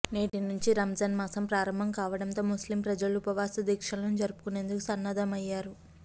నేటినుంచి రంజాన్ మాసం ప్రారంభం కావడంతో ముస్లిం ప్రజలు ఉపవాసదీక్షలను జరుపుకునేందుకు సన్నద్ధమయ్యారు